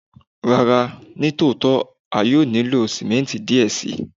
Rara, ni otitọ a yoo nilo simenti diẹ sii